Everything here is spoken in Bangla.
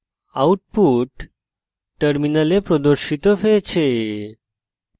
output terminal প্রদর্শিত হয়েছে